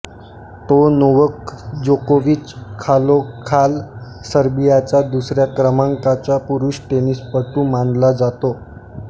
तो नोव्हाक जोकोविच खालोखाल सर्बियाचा दुसऱ्या क्रमांकाचा पुरुष टेनिसपटू मानला जातो